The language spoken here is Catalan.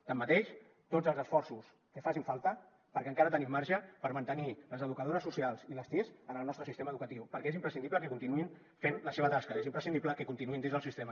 tanmateix tots els esforços que facin falta perquè encara tenim marge per mantenir les educadores socials i les tis en el nostre sistema educatiu perquè és imprescindible que continuïn fent la seva tasca és imprescindible que continuïn dins del sistema